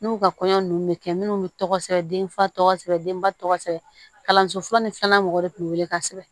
N'u ka kɔɲɔ nunnu bɛ kɛ minnu tɔgɔ sɛbɛn denfa tɔgɔ sɛbɛn denba tɔgɔ sɛbɛn kalanso fɔlɔ ni filanan mɔgɔw de kun bɛ wele ka sɛbɛn